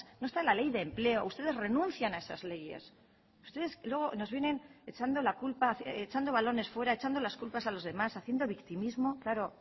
no está la ley de empleo ustedes renuncian a esas leyes ustedes luego nos vienen echando la culpa echando balones fuera echando las culpas a los demás haciendo victimismo claro